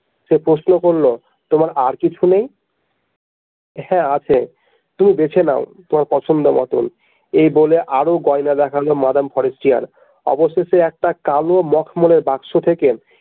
সে প্রশ্ন করলো তোমার আর কিছু নেই হ্যাঁ আছে তুমি বেঁছে নাও তোমার পছন্দ মতন এই বলে আরও গয়না দেখালো মাদাম ফরেস্টিয়ার অবশেষে একটা কালো মখমলের বাক্স থেকে।